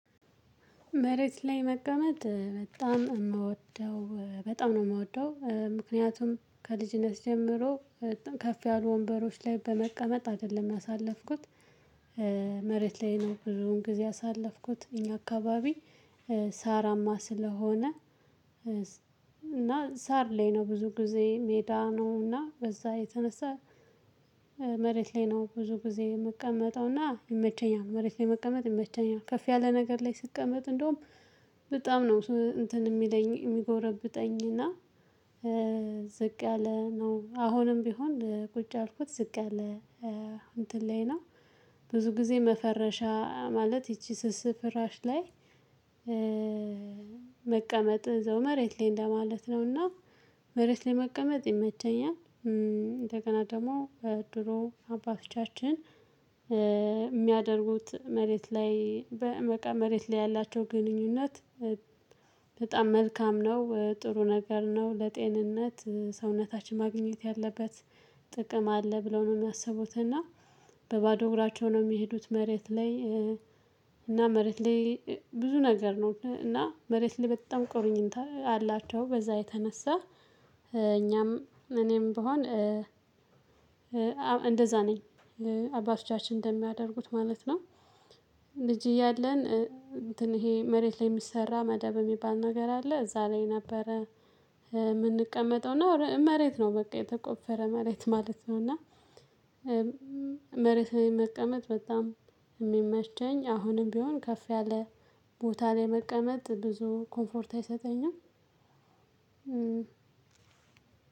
መሬት ላይ መቀመጥ በጣም እምወደው በጣም ነው እምወደው ምክንያቱም ከልጅነት ጀምሮ ከፍ ያሉ ወንበሮች ላይ በመቀመጥ አይደለም ያሳለፍኩት። መሬት ላይ ነው ብዙውን ጊዜ ያሳለፍኩት እኛ አካባቢ። ሳራማ ስለሆነ እና ሳር ላይ ነው ብዙ ጊዜ ሜዳ ነው እና በዛ የተነሳ። መሬት ላይ ነው ብዙ ጊዜ የምቀመጠውና ይመቸኛል መሬት ላይ መቀመጥ ይመቸኛል ከፍ ያለ ነገር ላይ ስቀመጥ እንደውም በጣም ነው እንትን እሚለኝ እሚጎረብጠኝ እና። ዝቅ ያለ ነው አሁንም ቢሆን ቁጭ አልኩት ዝቅ ያለ እንትን ላይ ነው። ብዙ ጊዜ መፈረሻ ማለት ይቺ ስስ ፍራሽ ላይ። መቀመጥ እዛው መሬት ላይ እንደማለት ነውና መሬት ላይ መቀመጥ ይመቸኛል። እንደገና ደሞ ድሮ አባቶቻችን እሚያደርጉት መሬት ላይ መሬት ላይ ያላቸው ግንኙነት። በጣም መልካም ነው ጥሩ ነገር ነው። ለጤንነት ሰውነታችን ማግኘት ያለበት ጥቅም አለ ብለው ነው እሚያስቡት እና። በባዶ እግራቸው ነው እሚሄዱት መሬት ላይ። እና መሬት ላይ ብዙ ነገር ነው እና መሬት ላይ በጣም ቁርኝት አላቸው በዛ የተነሳ። እኛም እኔም ብሆን እንደዛ ነኝ። አባቶቻችን እንደሚያደርጉት ማለት ነው። ልጅ እያለን እንትን ይሄ መሬት ላይ እሚሰራ መደብ እሚባል ነገር አለ እዛ ላይ ነበረ። እምንቀመጠው እና መሬት ነው በቃ የተቆፈረ መሬት ማለት ነው እና። መሬት ላይ መቀመጥ በጣም እሚመቸኝ። አሁንም ቢሆን ከፍ ያለ ቦታ ላይ መቀመጥ ብዙ ኮምፎርት አይሰጠኝም